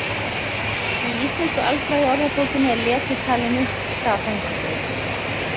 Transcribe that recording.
Í Íslensku alfræðiorðabókinni er leti talin upp í stað þunglyndis.